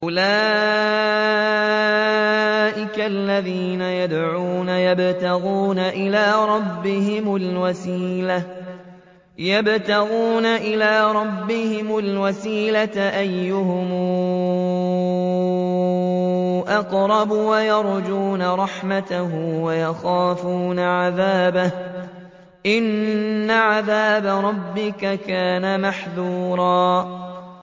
أُولَٰئِكَ الَّذِينَ يَدْعُونَ يَبْتَغُونَ إِلَىٰ رَبِّهِمُ الْوَسِيلَةَ أَيُّهُمْ أَقْرَبُ وَيَرْجُونَ رَحْمَتَهُ وَيَخَافُونَ عَذَابَهُ ۚ إِنَّ عَذَابَ رَبِّكَ كَانَ مَحْذُورًا